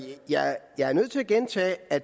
at